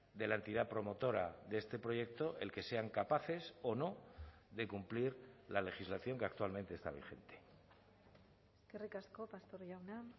de la entidad promotora de este proyecto el que sean capaces o no de cumplir la legislación que actualmente está vigente eskerrik asko pastor jauna